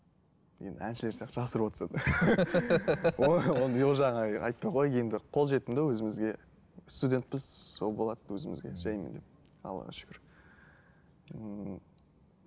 енді әншілер сияқты жасырып отырсам ол жағын айтпай ақ қояйық енді қол жетімді өзімізге студентпіз сол болады өзімізге жайменен аллаға шүкір ммм